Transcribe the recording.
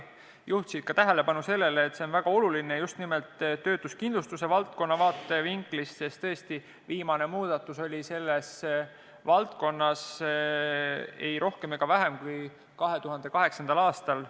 Juhiti ka tähelepanu sellele, et see on väga oluline just nimelt töötuskindlustuse valdkonna vaatevinklist, sest tõesti, viimane muudatus selles valdkonnas on tehtud ei rohkem ega vähem kui 2008. aastal.